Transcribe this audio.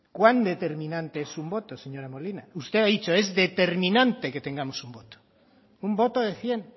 cuán determinante es un voto señora molina usted ha dicho es determinante que tengamos un voto un voto de cien